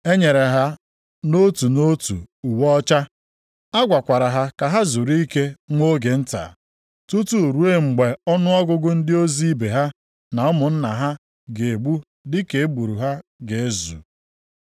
E nyere ha nʼotu nʼotu uwe ọcha, a gwakwara ha ka ha zuru ike nwa oge nta, tutu ruo mgbe ọnụọgụgụ ndị ozi ibe ha na ụmụnna ha a ga-egbu dịka e gburu ha ga-ezu.